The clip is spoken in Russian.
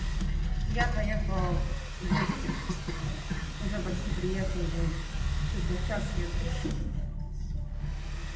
я поехал уже почти приехал сейчас еду